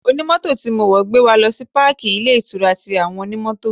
Onimoto tí mo wọ̀ gbé wa lọ sí páàkí ilé-ìtura ti àwọn Onimoto.